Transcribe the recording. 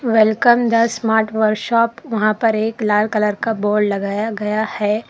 Welcome the smart workshop वहां पर एक लाल कलर का बोर्ड लगाया गया है।